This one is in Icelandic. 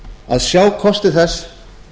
að sjá kosti þess